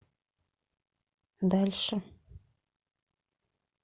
дальше